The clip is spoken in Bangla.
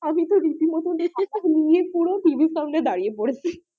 আমি তো রীতিমতো নিয়ে পুরো টিভির সামনে দাঁড়িয়ে পড়েছি।